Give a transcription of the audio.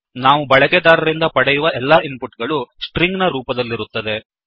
ನಾವು ಬಳಕೆದಾರರಿಂದ ಪಡೆಯುವ ಎಲ್ಲಾ ಇನ್ ಪುಟ್ ಗಳು ಸ್ಟ್ರಿಂಗ್ ಸ್ಟ್ರಿಂಗ್ ನ ರೂಪದಲ್ಲಿರುತ್ತದೆ